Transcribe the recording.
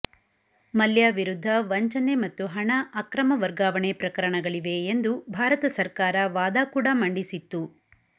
ಮಲ್ಯ ವಿರುದ್ಧ ವಂಚನೆ ಮತ್ತು ಹಣ ಅಕ್ರಮ ವರ್ಗಾವಣೆ ಪ್ರಕರಣಗಳಿವೆ ಎಂದು ಭಾರತ ಸರ್ಕಾರ ವಾದ ಕೂಡ ಮಂಡಿಸಿತ್ತು